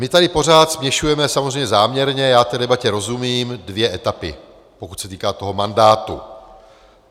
My tady pořád směšujeme, samozřejmě záměrně, já té debatě rozumím, dvě etapy, pokud se týká toho mandátu.